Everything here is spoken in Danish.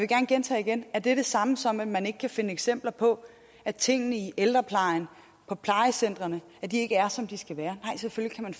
gerne gentage er det det samme som at man ikke kan finde eksempler på at tingene i ældreplejen på plejecentrene ikke er som de skal være nej selvfølgelig kan